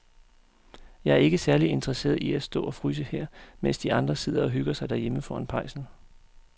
Jeg er ikke særlig interesseret i at stå og fryse her, mens de andre sidder og hygger sig derhjemme foran pejsen.